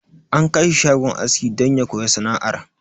An kai shi shagon aski don ya koya sana'ar.